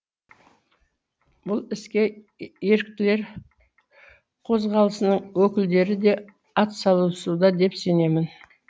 бұл іске еріктілер қозғалысының өкілдері де атсалысуда деп сенемін